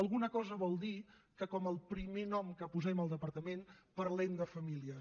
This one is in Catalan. alguna cosa vol dir que com el primer nom que posem al departament parlem de famílies